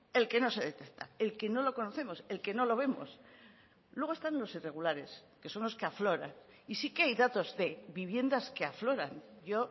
el que no se detecta el que no lo conocemos el que no lo vemos luego están los irregulares que son los que afloran y sí que hay datos de viviendas que afloran yo